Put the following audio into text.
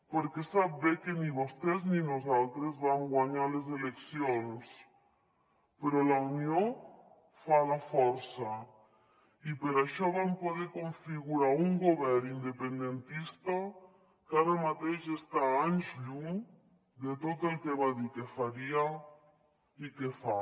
perquè sap bé que ni vostès ni nosaltres vam guanyar les eleccions però la unió fa la força i per això vam poder configurar un govern independentista que ara mateix està a anys llum de tot el que va dir que faria i que fa